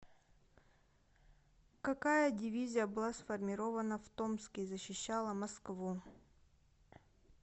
какая дивизия была сформирована в томске и защищала москву